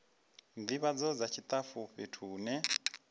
ndivhadzo dza tshitafu fhethu hune